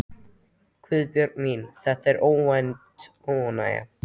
Guðbjörg mín, þetta var óvænt ánægja.